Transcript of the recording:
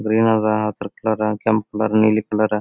green ಅದ್ ಹಸರ colour ಕೆಂಪ ಕಲರ್ ನೀಲಿ ಕಲರ್ --